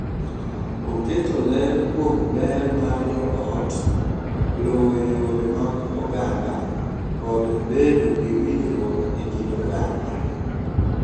Oketo ler kuom ber mar joot, luwo yore mag oganda, kod bedo gi winjruok e kind oganda.